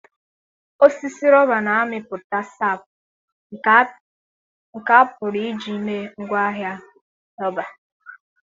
osisi rọba na-amịpụta sap nke a pụrụ iji mee ngwaahịa rọba.